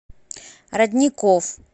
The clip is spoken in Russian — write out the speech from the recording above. родников